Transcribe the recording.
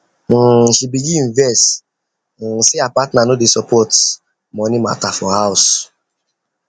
um she begin vex um say her partner no dey support dey support money matter for house